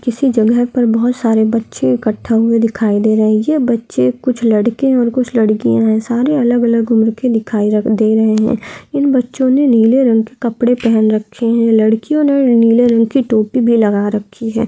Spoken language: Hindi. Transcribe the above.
किसी जगह पे बहुत सारे बच्चे इकठ्ठा हुए दिखाई दे रहे है ये बच्चे कुछ लड़के और कुछ लड़कियां है सारे अलग अलग उम्र के दिखाई लग दे रहे है इन बच्चो ने नीले रंग के कपड़े पहन रखे है लड़कियों ने नीले रंग की टोपी भी लगा रखी है।